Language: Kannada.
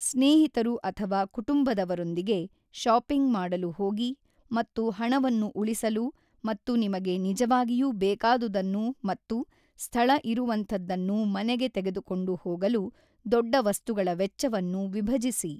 ಸ್ನೇಹಿತರು ಅಥವಾ ಕುಟುಂಬದವರೊಂದಿಗೆ ಶಾಪಿಂಗ್ ಮಾಡಲು ಹೋಗಿ ಮತ್ತು ಹಣವನ್ನು ಉಳಿಸಲು ಮತ್ತು ನಿಮಗೆ ನಿಜವಾಗಿಯೂ ಬೇಕಾದುದನ್ನು ಮತ್ತು ಸ್ಥಳ ಇರುವಂಥದ್ದನ್ನು ಮನೆಗೆ ತೆಗೆದುಕೊಂಡು ಹೋಗಲು ದೊಡ್ಡ ವಸ್ತುಗಳ ವೆಚ್ಚವನ್ನು ವಿಭಜಿಸಿ.